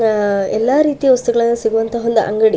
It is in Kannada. ಆ ಎಲ್ಲಾ ರೀತಿಯ ವಸ್ತುಗಳು ಸಿಗುವಂತಹ ಒಂದು ಅಂಗಡಿ.